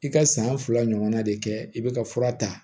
I ka san fila ɲɔgɔnna de kɛ i bɛ ka fura ta